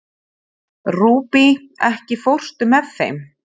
Rúbý, ekki fórstu með þeim?